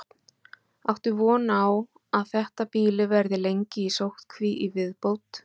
Björn: Áttu von á að þetta býli verði lengi í sóttkví í viðbót?